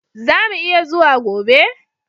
Zamu iya zuwa gobe